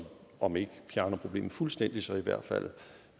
om ikke fjerner problemet fuldstændig så i hvert fald